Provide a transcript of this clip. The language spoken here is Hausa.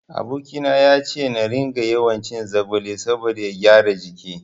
Aboki na yace na ringa yawancin zogale saboda ya gyara jiki.